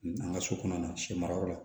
An ka so kɔnɔna sɛ mara yɔrɔ la